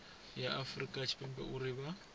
ya afurika tshipembe uri vha